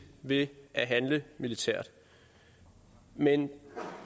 ved at handle militært men